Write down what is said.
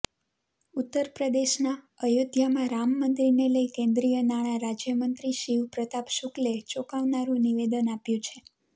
ઉત્તરપ્રદેશના અયોધ્યામાં રામ મંદિરને લઇ કેન્દ્રીય નાણા રાજ્યમંત્રી શિવ પ્રતાપ શુક્લે ચોંકાવનારૂ નિવેદન આપ્યું છે